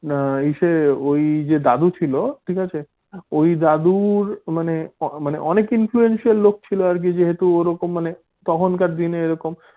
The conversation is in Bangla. না ইসে ওই যে দাদু ছিল ঠিক আছে ওই দাদুর মানে মানে অনেক influencer লোক ছিল আর কি যে হাতু ওই রকম মানে তখন কার দিনে এইরকম